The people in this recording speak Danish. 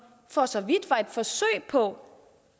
for så vidt var et forsøg på